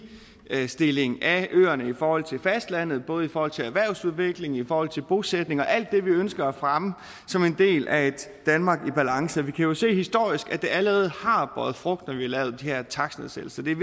ligestilling af øerne i forhold til fastlandet både i forhold til erhvervsudvikling i forhold til bosætning og alt det vi ønsker at fremme som en del af et danmark i balance og vi kan jo se historisk at det allerede har båret frugt at vi lavede de her takstnedsættelser det er